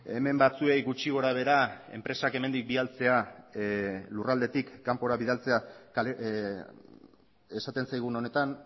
hemen batzuei gutxi gora behera enpresak hemendik bidaltzea lurraldetik kanpora bidaltzea esaten zaigun honetan